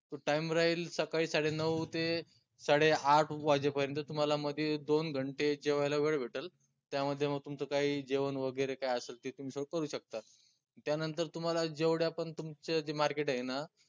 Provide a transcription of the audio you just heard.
तो time राहील सकाळी सडे नऊ ते साडे आठ वाजेपर्यंत तुम्हाला मध्ये दोन घंटे जेवायला वेळ भेटलं त्यामध्ये म तुमचं काही जेवन वगैरे काय असलं ते तुम्ही सगळं करू शकता त्या नंतर तुम्हाला जेवढ्या पन तुमच्या जे market आहे ना